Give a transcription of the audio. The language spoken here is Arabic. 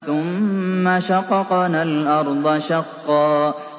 ثُمَّ شَقَقْنَا الْأَرْضَ شَقًّا